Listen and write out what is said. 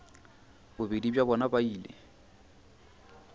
bobedi bja bona ba ile